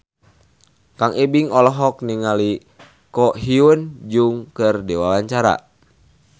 Kang Ibing olohok ningali Ko Hyun Jung keur diwawancara